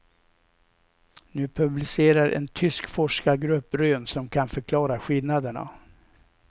Nu publicerar en tysk forskargrupp rön som kan förklara skillnaderna.